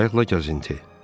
Qayıqla gəzinti.